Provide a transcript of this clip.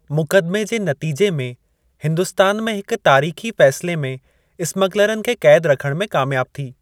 मुक़दमे जे नतीजे में हिन्दुस्तान में हिक तारीख़ी फ़ैसिले में स्मगलरनि खे क़ैद रखणु में कामयाब थी।